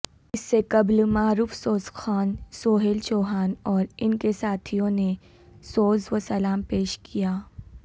اس سے قبل معروف سوز خوان سہیل چوہان اور انکے ساتھیوں نے سوزوسلام پیش کیا